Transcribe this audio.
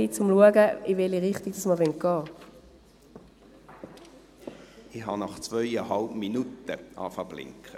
Ich habe das Blinken des Lämpchens nach zweieinhalb Minuten veranlasst.